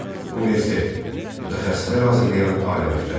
Universitet, mütəxəssislər hazırlayan ali məktəb.